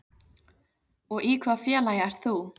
Og í hvaða félagi ert þú?